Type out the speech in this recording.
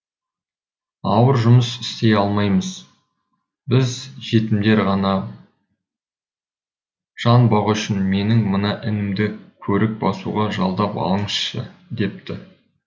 ауыр жұмыс істей алмаймыз біз жетімдер жан бағу үшін менің мына інімді көрік басуға жалдап алыңызшы депті